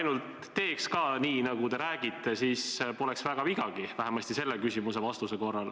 No kui te teeks ka nii, nagu te räägite, siis poleks väga vigagi, vähemasti kui otsustada selle küsimuse vastuse järgi.